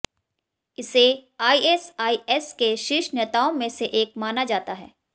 इसे आईएसआईएस के शीर्ष नेताओं में से एक माना जाता है